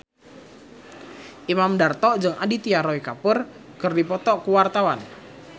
Imam Darto jeung Aditya Roy Kapoor keur dipoto ku wartawan